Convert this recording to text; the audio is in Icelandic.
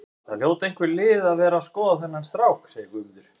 Það hljóta einhver lið að vera að skoða þennan strák, segir Guðmundur.